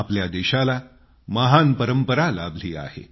आपल्या देशाला महान परंपरा लाभली आहे